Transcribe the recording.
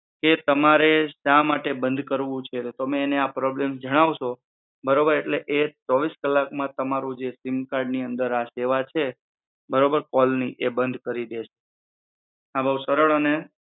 કે તમારે શા માટે બન્દ કરવું છે તમે એન આ પ્રોબ્લેમ જણાવશો બરોબર એટલે એ ચોવીસ કલાક માં જે તમારૂ જે સિમ કાર્ડ ની અંદર આ દેવા છે બરોબર કોલની એ બન્દ કરી દેશે આ બહુ સરળ અને